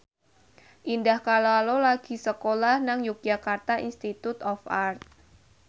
Indah Kalalo lagi sekolah nang Yogyakarta Institute of Art